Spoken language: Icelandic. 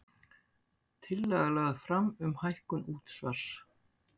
Tillaga lögð fram um hækkun útsvars